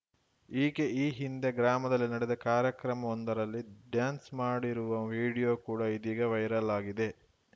ಈಕೆ ಈ ಹಿಂದೆ ಗ್ರಾಮದಲ್ಲಿ ನಡೆದ ಕಾರ್ಯಕ್ರಮವೊಂದರಲ್ಲಿ ಡ್ಯಾನ್ಸ್‌ ಮಾಡಿರುವ ವಿಡಿಯೋ ಕೂಡ ಇದೀಗ ವೈರಲ್‌ ಆಗಿದೆ